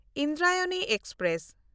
Indrayani express